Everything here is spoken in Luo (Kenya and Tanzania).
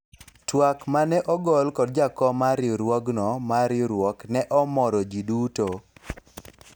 twak mane ogol kod jakom mar riwruogno mar riwruok ne omoro jii duto